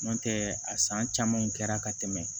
N'o tɛ a san caman kɛra ka tɛmɛ